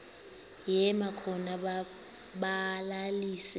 yema khona balalise